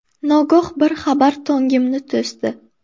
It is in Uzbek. Nogoh bir xabar Tongimni to‘sdi.